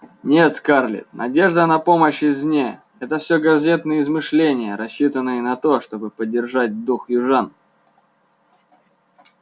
нет скарлетт надежда на помощь извне это всё газетные измышления рассчитанные на то чтобы поддержать дух южан